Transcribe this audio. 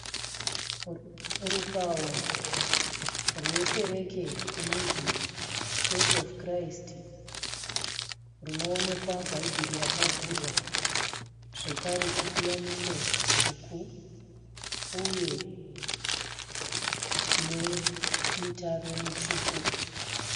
Rupawo rwekereke inonzi (Church Of Christ) runoonekwa bhaibheri rakavhurwa zvekare chipiyaniso chitsvuku uye nemitaro mitsvuku.